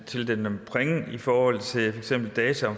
tildele dem point i forhold til data om